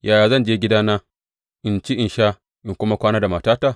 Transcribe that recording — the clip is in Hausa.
Yaya zan je gidana in ci in sha in kuma kwana da matata?